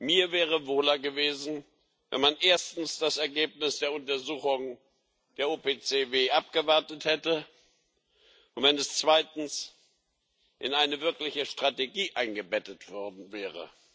Mir wäre wohler gewesen, wenn man erstens das Ergebnis der Untersuchung der OPCW abgewartet hätte und wenn es zweitens in eine wirkliche Strategie eingebettet worden wäre.